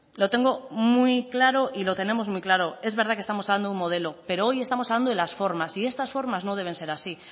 lo tengo muy claro y lo tenemos muy claro es verdad que estamos hablando de un modelo pero hoy estamos hablando de las formas y estas formas no deben ser así